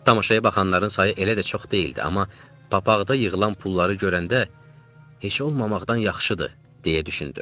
Tamaşaya baxanların sayı elə də çox deyildi, amma papaqda yığılan pulları görəndə, heç olmamaqdan yaxşıdır deyə düşündüm.